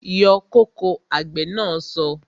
Yọ kóko! Àgbè na so